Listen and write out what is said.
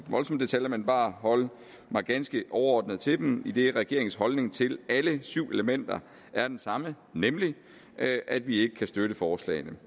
detaljer men bare forholde mig ganske overordnet til dem idet regeringens holdning til alle syv elementer er den samme nemlig at at vi ikke kan støtte forslagene